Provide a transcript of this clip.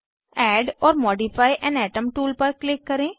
add or modify an atom tool पर click करें